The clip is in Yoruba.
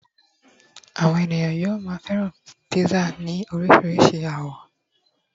àwọn ènìyàn yíò ma feran pizza ni oríṣi awọ